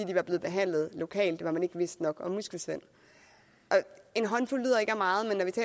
de var blevet behandlet lokalt hvor man ikke vidste nok om muskelsvind en håndfuld lyder ikke af meget